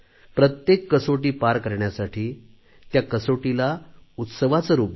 प्रत्येक कसोटी पार कऱण्यासाठी त्या कसोटीलाच उत्सवाचे रूप द्या